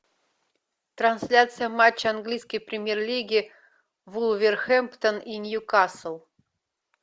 трансляция матча английской премьер лиги вулверхэмптон и ньюкасл